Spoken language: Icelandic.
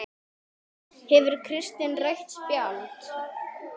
Gefur Kristinn rautt spjald?